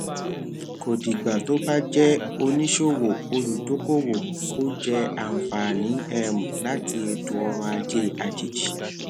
kò dìgbà tó bá jẹ oníṣòwò olùdókòwò kó jẹ àǹfààní um láti ètò ọrọ ajé àjèjì